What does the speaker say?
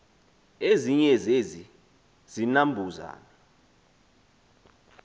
ezinye zezi zinambuzane